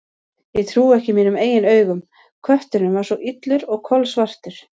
Ég trúði ekki mínum eigin augum: kötturinn var svo illur og kolsvartur.